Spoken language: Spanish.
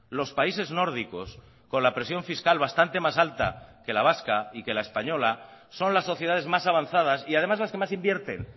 los países nórdicos con la presión fiscal bastante más alta que la vasca y que la española son las sociedades más avanzadas y además las que más invierten